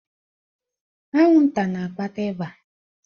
Anwụnta na-akpata ịba.